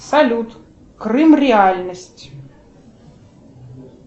салют крым реальность